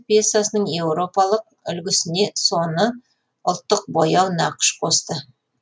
пьесасының еуропалық үлгісіне соны ұлттық бояу нақыш қосты